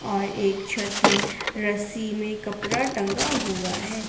और एक छत में रस्सी में कपड़ा टंगा हुआ है।